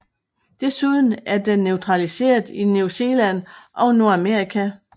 Desuden er den naturaliseret i New Zealand og Nordamerika